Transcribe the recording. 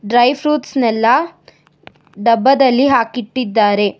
Dry fruits ನೆಲ್ಲ ಡಬ್ಬದಲ್ಲಿ ಹಾಕಿಟ್ಟಿದ್ದಾರೆ.